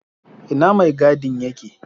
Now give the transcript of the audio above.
Ina mai gadin yake?